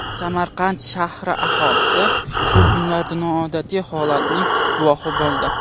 Samarqand shahri aholisi shu kunlarda noodatiy holatning guvohi bo‘ldi.